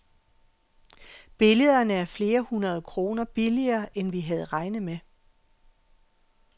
Billederne er flere hundrede kroner billigere end vi havde regnet med.